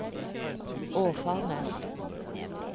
Åfarnes